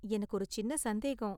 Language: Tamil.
எனக்கு ஒரு சின்ன சந்தேகம்